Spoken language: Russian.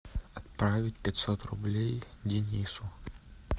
отправить пятьсот рублей денису